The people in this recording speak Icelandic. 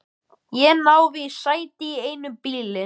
Ég náði í sæti í einum bílnum.